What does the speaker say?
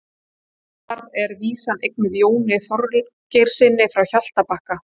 Þar er vísan eignuð Jóni Þorgeirssyni frá Hjaltabakka.